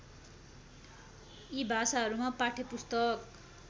यी भाषाहरूमा पाठ्यपुस्तक